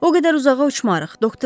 O qədər uzağa uçmarıq.